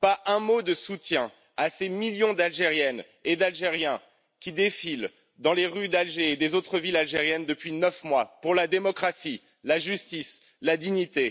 Nous n'avons pas eu un mot de soutien à ces millions d'Algériennes et d'Algériens qui défilent dans les rues d'Alger et des autres villes algériennes depuis neuf mois pour la démocratie, la justice et la dignité.